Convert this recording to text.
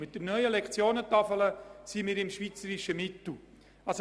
Mit der neuen Lektionentafel ist dies der Fall.